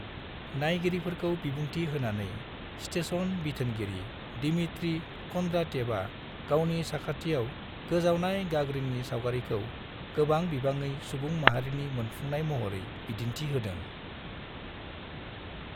नायगिरिफोरखौ बिबुंथि होनानै, स्टेशन बिथोनगिरि दिमित्री कन्द्रात्येभआ गावनि साखाथियाव गोजावनाय गागरिननि सावगारिखौ गोबां बिबाङै सुबुं माहारिनि मोनफुंनाय महरै बिदिन्थि होदों ।